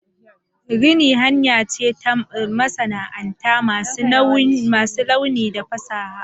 Rini hanya ce ta masana'anta masu launi da fasaha.